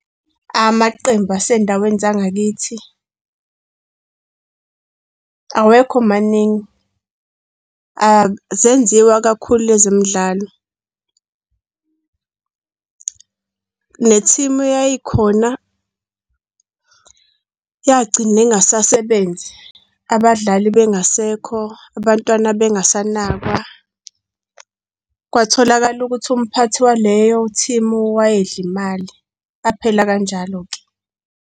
Amaqembu asendaweni zangakithi, awekho maningi. Akuzenziwa kakhulu ezemidlalo, ne-team eyayikhona yagcina ingasasebenzi, abadlali bengasekho, abantwana bengasanakwa. Kwatholakala ukuthi umphathi waleyo-team wayedla imali, aphela kanjalo-ke.